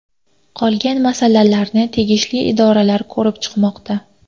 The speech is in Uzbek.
Qolgan masalalarni tegishli idoralar ko‘rib chiqmoqda.